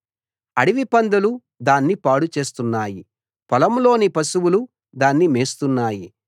అడవిపందులు దాన్ని పాడు చేస్తున్నాయి పొలంలోని పశువులు దాన్ని మేస్తున్నాయి